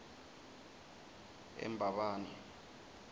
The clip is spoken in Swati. embabane